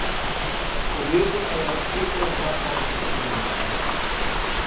Podjetje pa je razpeto na dva konca Slovenije.